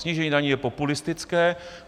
Snížení daní je populistické.